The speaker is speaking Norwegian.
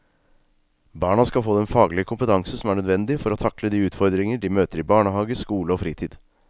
Barna skal få den faglige kompetanse som er nødvendig for å takle de utfordringer de møter i barnehage, skole og fritid.